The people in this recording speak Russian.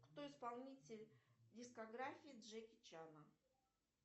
кто исполнитель дискографии джеки чана